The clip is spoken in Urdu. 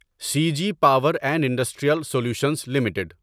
C G power and industrial solutions limited